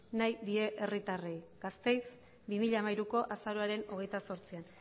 nahi die herritarrei gasteiz bi mila hamairuko azaroaren hogeita zortzian